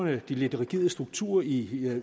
den lidt rigide struktur i